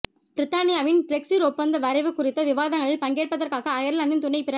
பிரித்தானியாவின் பிரெக்ஸிற் ஒப்பந்த வரைவு குறித்த விவாதங்களில் பங்கேற்பதற்காக அயர்லாந்தின் துணைப்பிர